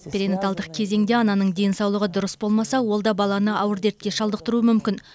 перинаталдық кезеңде ананың денсаулығы дұрыс болмаса ол да баланы ауыр дертке шалдықтыруы мүмкін